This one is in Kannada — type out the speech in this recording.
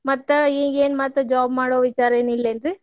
ಮತ್ತ್ ಈಗೇನ್ ಮತ್ತ್ job ಮಾಡೋ ವಿಚಾರ್ರೇನಿಲ್ಲಾ ಏನ್ರಿ?